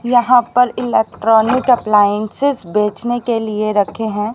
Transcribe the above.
यहां पर electronic appliances बेचने के लिए रखे हैं।